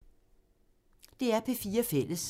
DR P4 Fælles